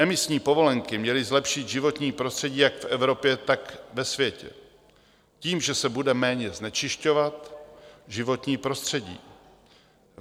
Emisní povolenky měly zlepšit životní prostředí jak v Evropě, tak ve světě tím, že se bude méně znečišťovat životní prostředí.